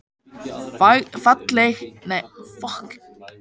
Fagleg vinnubrögð einkennast af alúð.